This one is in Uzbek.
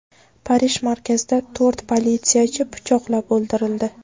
Parij markazida to‘rt politsiyachi pichoqlab o‘ldirildi.